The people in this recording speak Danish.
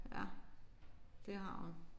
Ja det har hun